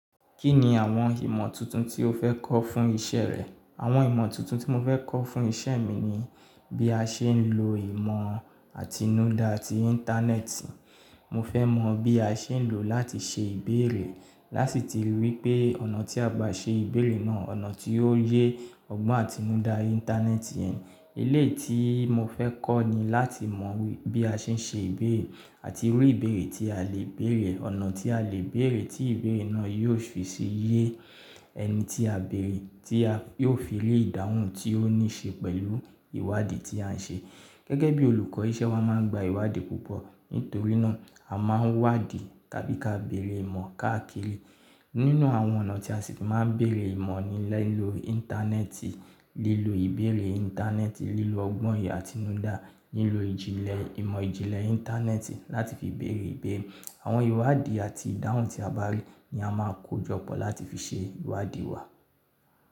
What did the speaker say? Kí ni àwọn ìmọ̀ tuntun tí o fẹ́ kọ́ fún iṣẹ́ rẹ? Àwọn ìmọ̀ tuntun tí mo fẹ́ kọ́ fún iṣẹ́ mi ni bí a ṣe ń lo ìmọ̀ àtinúdá ti Íńtánẹ́ẹ̀tì. Mo fẹ́ mọ bí a ṣe ń lò ó láti ṣe ìbéèrè láti ti rí pé ọ̀nà tí a bá ṣe ìbéèrè náà, ọ̀nà tí yóò yé ọgbọ́n àtinúdá Íńtánẹ́ẹ̀tì yen. Elétí mo fẹ́ kọ́ ni láti mọ bí a ṣe ń ṣe ìbéèrè àti irú ìbéèrè tí a lè bèèrè, ọ̀nà tí a lè béèrè tí ìbéèrè náà yóò fi ṣe yé ẹni tí a béèrè tí yóò fi rí ìdáhùn tí ó ní ṣe pẹ̀lú ìwádìí tí à ń ṣe. Gẹ́gẹ́ bí olùkọ́, iṣẹ́ wa máa ń gba ìwádìí púpọ̀. Nítorí náà, a máa ń wádìí tàbí ka béèrè ìmọ̀ káàkiri. Nínú àwọn ọ̀nà tí a ṣì máa ń bèèrè ìmọ̀ ni lilo Íńtánẹ́ẹ̀tì, lílo ìbéèrè Íńtánẹ́ẹ̀tì, lílo ọgbọ́n ìyè àtinúdá, lílo ìjìnlẹ̀, ìmọ̀ ìjìnlẹ̀ Íńtánẹ́ẹ̀tì láti fi béèrè ìbéèrè. Àwọn ìwádìí àti ìdáhùn tí a bá rí ní a máa kó jọpọ̀ láti fi ṣe ìwádìí wa.